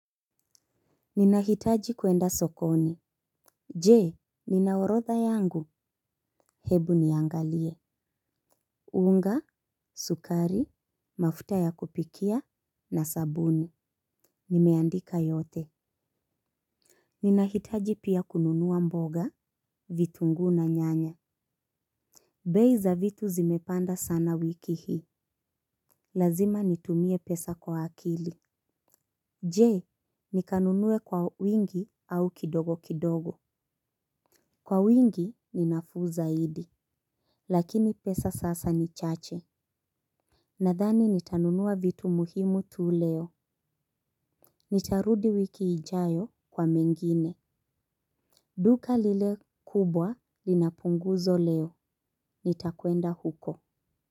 Ninahitaji kwenda sokoni. Je, nina orodha yangu, hebu niangalie. Unga, sukari, mafuta ya kupikia, na sabuni. Nimeandika yote. Ninahitaji pia kununuwa mboga, vitunguu na nyanya. Bei za vitu zimepanda sana wiki hii. Lazima nitumie pesa kwa akili. Je, nikanunuwe kwa wingi au kidogo kidogo. Kwa wingi, ni nafuu zaidi. Lakini pesa sasa ni chache. Nadhani nitanunua vitu muhimu tu leo. Nitarudi wiki ijayo kwa mengine. Duka lile kubwa linapunguzo leo. Nitakwenda huko.